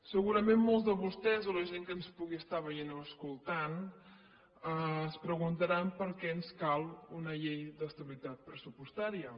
segurament molts de vostès o la gent que ens pugui estar veient o escoltant es preguntaran per què ens cal una llei d’estabilitat pressupostària